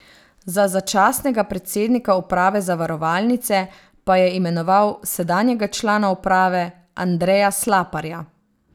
Za začasnega predsednika uprave zavarovalnice pa je imenoval sedanjega člana uprave Andreja Slaparja.